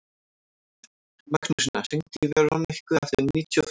Magnúsína, hringdu í Veroniku eftir níutíu og fimm mínútur.